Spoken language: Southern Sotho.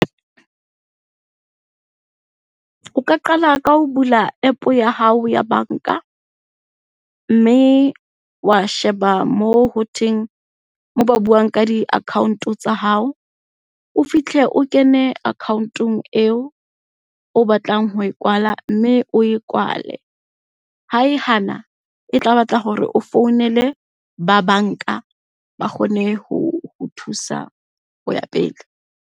O ka qala ka ho bula App ya hao ya banka, mme wa sheba moo hothweng, moo ba buang ka di-account-o tsa hao. O fihle o kene account-ong eo o batlang ho e kwala, mme o e kwale. Ha e hana, e tla batla hore o founele ba banka ba kgone ho o thusa ho ya pele.